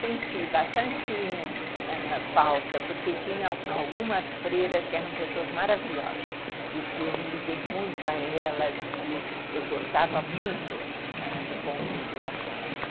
Senti bastante... falta, porque tinha algumas freiras que eram pessoas maravilhosas e que eu me liguei muito a elas e que eu gostava muito do convívio lá com elas.